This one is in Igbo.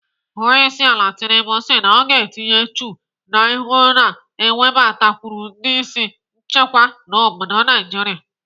Onyeisiala Tinubu si na ọ ga-etinye uchu na ịhụ na-ewebatakwụrụ ndị isi nchekwa n'obodo Naijiria.